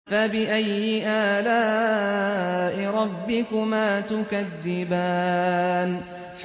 فَبِأَيِّ آلَاءِ رَبِّكُمَا تُكَذِّبَانِ